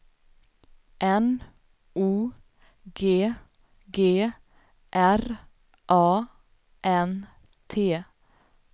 N O G G R A N T